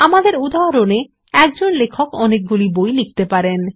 আমাদের উদাহরণ এ একজন লেখক অনেক বই লিখতে পারেন